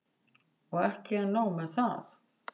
Og ekki er nóg með það.